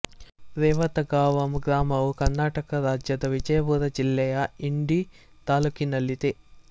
ರೇವತಗಾಂವ ಗ್ರಾಮವು ಕರ್ನಾಟಕ ರಾಜ್ಯದ ವಿಜಯಪುರ ಜಿಲ್ಲೆಯ ಇಂಡಿ ತಾಲ್ಲೂಕಿನಲ್ಲಿದೆ